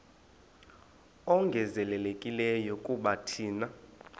ongezelelekileyo kuba thina